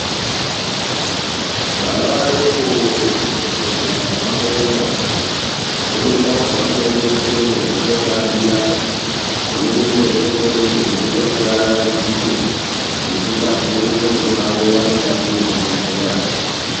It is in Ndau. Vana vadoko muzvibhedhlera zvavanoenda mune ndau dzavanoendeswemo mekotambira munenge mune hutekwerede hunoita kuti vavaraidzike nekungwadza ngonxo dzAke vari mukati mezvibhedhlera.